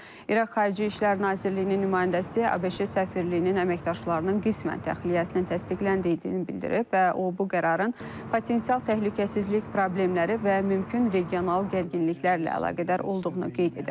İraq Xarici İşlər Nazirliyinin nümayəndəsi ABŞ səfirliyinin əməkdaşlarının qismən təxliyəsini təsdiqləndiyini bildirib və o bu qərarın potensial təhlükəsizlik problemləri və mümkün regional gərginliklərlə əlaqədar olduğunu qeyd edib.